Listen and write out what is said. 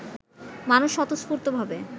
মানুষ স্বতঃস্ফূর্ত ভাবে